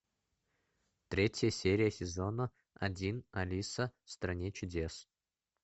третья серия сезона один алиса в стране чудес